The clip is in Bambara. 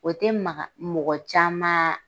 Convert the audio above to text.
O te maka mɔgɔ caman